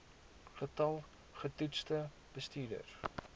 getal getoetste bestuurders